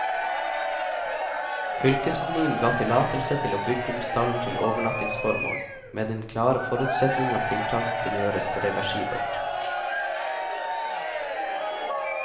Fylkeskommunen ga tillatelse til å bygge om stallen til overnattingsformål, med den klare forutsetning at tiltaket kunne gjøres reversibelt.